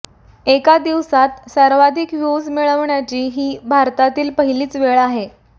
एका दिवसात सर्वाधिक व्ह्युज मिळवण्याची ही भारतातील पहिलीच वेळ आहे